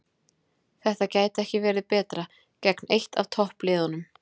Þetta gæti ekki verið betra, gegn eitt af toppliðunum